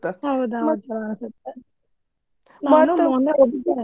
ಹೌದೌದೌದ